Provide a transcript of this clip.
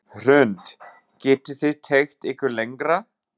Hrund: Getið þið teygt ykkur lengra?